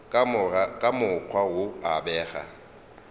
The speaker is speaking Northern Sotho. ka mokgwa wo a bego